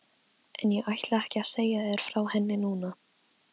En ég ætla ekki að segja þér frá henni núna.